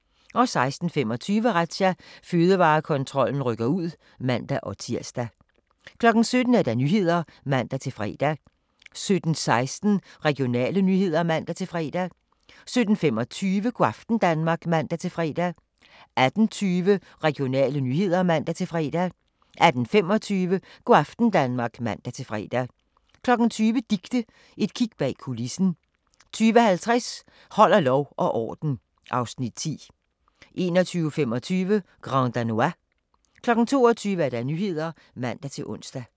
16:25: Razzia – Fødevarekontrollen rykker ud (man-tir) 17:00: Nyhederne (man-fre) 17:16: Regionale nyheder (man-fre) 17:25: Go' aften Danmark (man-fre) 18:20: Regionale nyheder (man-fre) 18:25: Go' aften Danmark (man-fre) 20:00: Dicte – et kig bag kulissen 20:50: Holder lov og orden (Afs. 10) 21:25: Grand Danois 22:00: Nyhederne (man-ons)